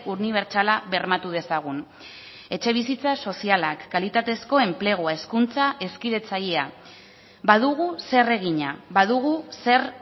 unibertsala bermatu dezagun etxebizitza sozialak kalitatezko enplegua hezkuntza hezkidetzailea badugu zer egina badugu zer